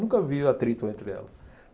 Nunca vi atrito entre elas.